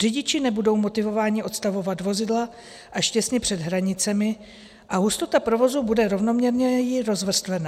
Řidiči nebudou motivováni odstavovat vozidla až těsně před hranicemi a hustota provozu bude rovnoměrněji rozvrstvena.